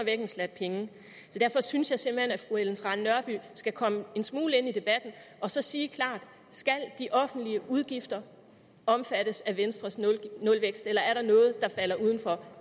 en slat penge derfor synes jeg simpelt hen at fru ellen trane nørby skal komme en smule ind i debatten og så sige klart skal de offentlige udgifter omfattes af venstres nulvækst eller er der noget der falder uden for